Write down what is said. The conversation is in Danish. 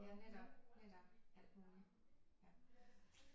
Ja netop netop alt muligt ja